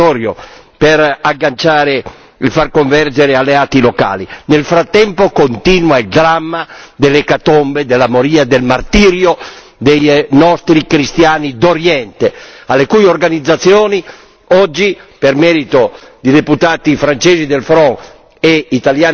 Nel frattempo continua il dramma dell'ecatombe, della moria, del martirio dei nostri cristiani d'Oriente, alle cui organizzazioni oggi per merito di deputati francesi del Front National e italiani della Lega Nord si sta raccogliendo la proposta di dedicare il premio Sakharov.